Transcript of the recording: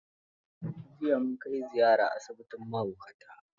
Jiya mun kai ziyara asibitin mahaukata.